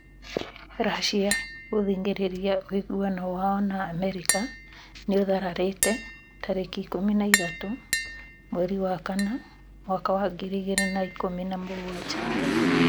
Russia gũthing'ĩrĩria ũiguano wao na Amerika nĩũtharararĩte tarĩki ikũmi na ithatũ mweri wa kana mwaka wa ngiri igĩrĩ na ikũmi na mũgwanja